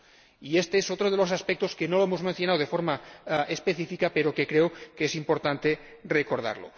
Y este es otro de los aspectos que no hemos mencionado de forma específica, pero que creo que es importante recordar.